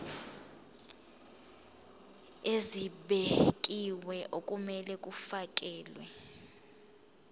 ezibekiwe okumele kufakelwe